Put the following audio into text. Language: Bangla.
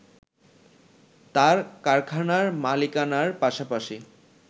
তাঁর কারখানার মালিকানার পাশাপাশি